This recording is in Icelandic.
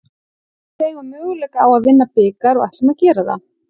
Við eigum möguleika á að vinna bikar og ætlum að gera það.